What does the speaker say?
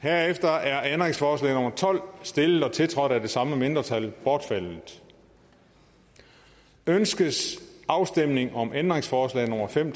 herefter er ændringsforslag nummer tolv stillet og tiltrådt af de samme mindretal bortfaldet ønskes afstemning om ændringsforslag nummer fem